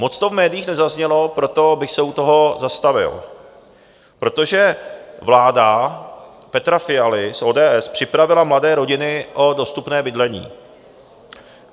Moc to v médiích nezaznělo, proto bych se u toho zastavil, protože vláda Petra Fialy z ODS připravila mladé rodiny o dostupné bydlení.